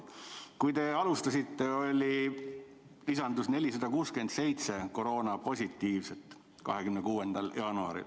Kui te alustasite, lisandus 26. jaanuaril 467 koroonapositiivset.